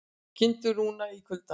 Kindur rúnar í kuldanum